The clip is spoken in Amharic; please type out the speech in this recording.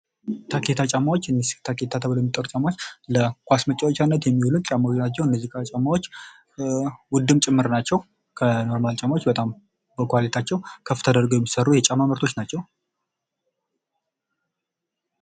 የታኬታ ጫማዎች በዘመናዊ ዲዛይናቸው፣ በጥንካሬያቸውና በአገር ውስጥ የተመረተ ጥራት ያለው ቆዳ በመጠቀማቸው ተወዳጅነትን አትርፈዋል።